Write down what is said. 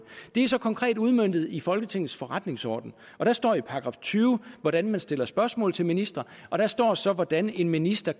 det er så konkret udmøntet i folketingets forretningsorden og der står i § tyve hvordan man stiller spørgsmål til ministre og der står så hvordan en minister